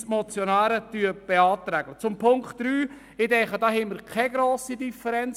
Zu Ziffer 3: Ich denke, wir haben keine grosse Differenz.